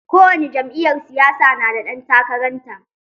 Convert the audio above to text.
Kowani jam'iyyar siyasa na da ɗan takarar ta.